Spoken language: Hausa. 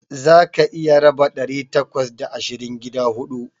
Zaka iya raba ɗari takwas da ashirin gida huɗu.